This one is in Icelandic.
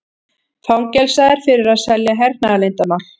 Fangelsaður fyrir að selja hernaðarleyndarmál